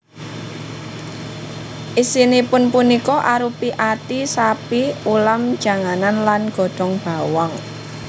Isinipun punika arupi ati sapi ulam janganan lan godhong bawang